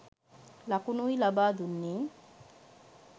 ලකුණුයි ලබා දුන්නෙ.